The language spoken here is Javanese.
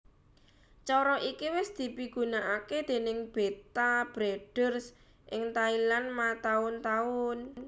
Cara iki wis dipigunakaké déning Betta Breeders ing Thailand mataun taun